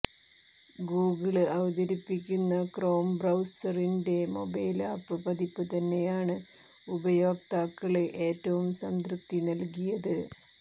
Google അവതരിപ്പിക്കുന്ന Chrome ബ്രൌസറിന്റെ mobile app പതിപ്പ് തന്നെയാണ് ഉപയോക്താക്കള് ഏറ്റവും സംതൃപ്തി നല്കിയത്